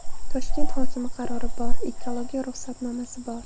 Toshkent hokimi qarori bor, ekologiya ruxsatnomasi bor.